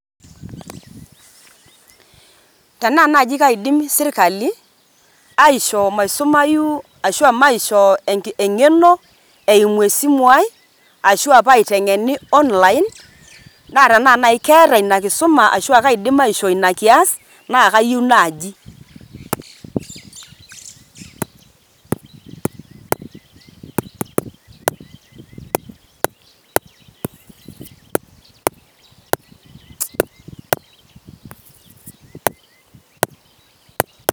Tenaa naaji kaidim serkali aishoo maisumayu, ashu aa maishoo eng`eno eimu esimu ai, ashu aa paiteng`eni online. Naa tenaa naaji keeta ina kisuma ashua kaidim aishoo ina kiyas naa kayieu naaji.